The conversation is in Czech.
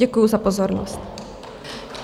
Děkuji za pozornost.